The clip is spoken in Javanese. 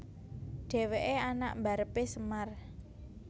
Dhèwèké anak mbarepé Semar